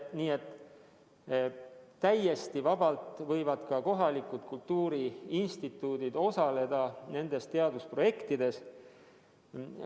Nii et täiesti vabalt võivad ka kohalikud kultuuriinstituudid osaleda nendes teadusprojektides.